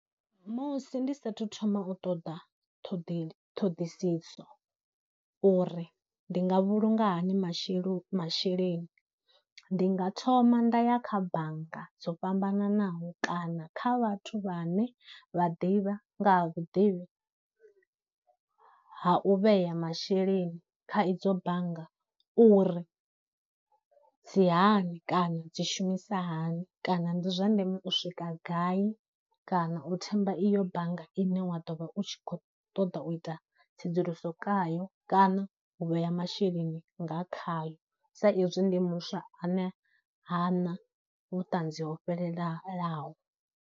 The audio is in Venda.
Musi ndi sathu thoma u ṱoḓa ṱhoḓeli, ṱhoḓisiso uri ndi nga vhulunga hani mashelo masheleni, ndi nga thoma nda ya kha bannga dzo fhambananaho kana kha vhathu vhane vha ḓivha nga ha vhuḓivhi ha u vhea masheleni kha idzo bannga uri dzi hani kana dzi shumisa hani, kana ndi zwa ndeme u swika gai, kana u themba iyo bannga ine wa ḓo vha u tshi khou ṱoḓa u ita tsedzuluso khayo kana u vhea masheleni nga khayo sa izwi ndi muswa ane hana vhuṱanzi ho fhelela laho.